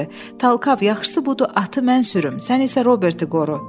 Talkav, yaxşısı budur, atı mən sürüm, sən isə Roberti qoru.